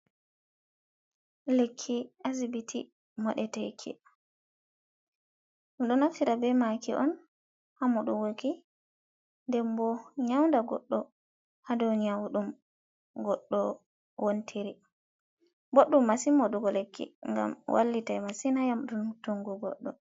Lekki asbiti moɗeteki ɗo naftira be maki on hamoɗuki den bo nyaunda goɗɗo ha ɗow nyaw ɗum goɗɗo wontiri, ɓoɗɗum masin moɗugo lekki gam wallitai massin ha yamɗunuttungo goɗɗo.